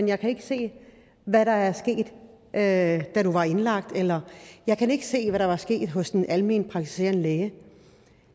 jeg kan ikke se hvad der er sket da du var indlagt eller jeg kan ikke se hvad der er sket hos den almenpraktiserende læge